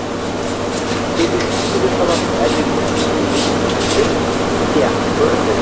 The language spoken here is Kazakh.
себепсіз күле салатын әдетің кейде ессіздік сияқты көрінеді